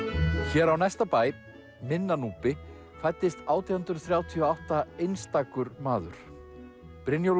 hér á næsta bæ minna Núpi fæddist átján hundruð þrjátíu og átta einstakur maður Brynjólfur